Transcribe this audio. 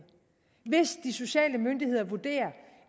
hvis de sociale myndigheder vurderer